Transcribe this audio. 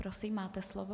Prosím, máte slovo.